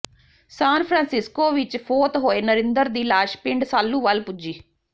San Francisco ਵਿੱਚ ਫੌਤ ਹੋਏ ਨਰਿੰਦਰ ਦੀ ਲਾਸ਼ ਪਿੰਡ ਸਾਲੂਵਾਲ ਪੁੱਜੀ